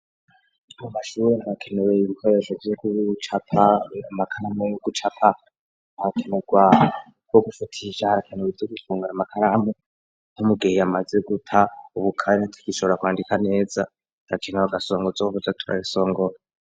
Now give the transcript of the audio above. amashure harakenewe ibikoresho vyo camakaramo yo gucapa arakenerwa wo gufatisha arakenewe vyo gufungura amakaramo yamugiye amaze guta ubukare atigishobora kwandika neza arakenewe agasongo ko kuza turarisongora.